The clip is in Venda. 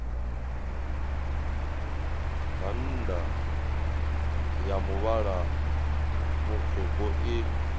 bannda a muvhala mutswuku i